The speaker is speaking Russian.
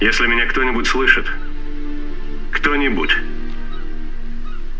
если меня кто-нибудь слышит кто-нибудь